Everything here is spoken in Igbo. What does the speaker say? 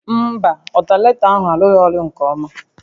Mba, ọltanetọ ahụ arụghị ọrụ nke ọma